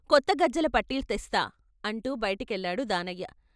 కొత్త గజ్జెల పట్టిల్ తెస్తా" అంటూ బయటికెళ్ళాడు దానయ్య.